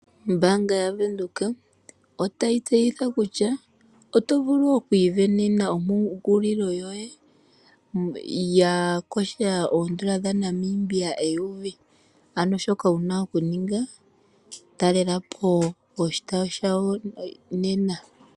Ombaanga yaVenduka otayi tseyitha kutya oto vulu okwiivenena ompungulilo yoye ya kwatha oondola dhaNamibia eyovi. Ano shoka wu na okuninga talela po oshitayi dhawo nena.